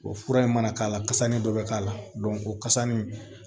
O fura in mana k'a la kasa nin dɔ bɛ k'a la o kasa nin